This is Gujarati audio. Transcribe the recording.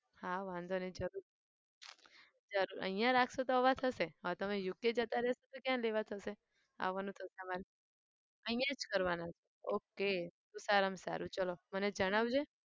હા વાંધો નહિ જરૂર જરૂર અહિયાં રાખશો તો આવા થશે. હવે તમને UK જતા રહશો તો કયાં લેવા થશે. આવવાનું થશે અમારે અહિયાં જ કરવાના છે okay તો સારામાં સારું ચાલો મને જણાવજે.